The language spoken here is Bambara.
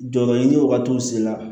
Jɔ ɲini wagatiw se la